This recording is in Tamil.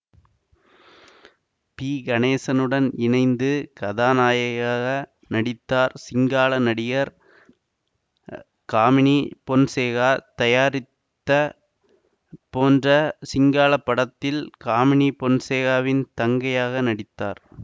பி கணேசனுடன் இணைந்து கதாநாயகியாக நடித்தார் சிங்கால நடிகர் காமினி பொன்சேகா தயாரித்த போன்ற சிங்கள படத்தில் காமினி பொன்சேகாவின் தங்கையாக நடித்தார்